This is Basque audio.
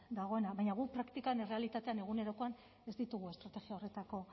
dagoena baina guk praktikan errealitatean egunerokoan ez ditugu estrategia horretako